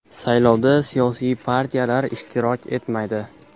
Saylovda siyosiy partiyalar ishtirok etmaydi.